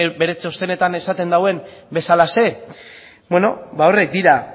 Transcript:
evek bere txostenetan esaten duen bezalaxe beno ba horrek dira